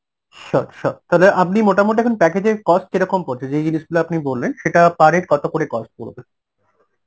sure sure তাহলে আপনি মোটামুটি এখন package এর cost কিরকম পড়ছে যেই জিনিসগুলো আপনি বললেন সেটা per head কত করে cost পরবে?